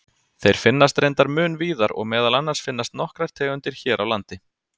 Þeir finnast reyndar mun víðar og meðal annars finnast nokkrar tegundir hér á landi.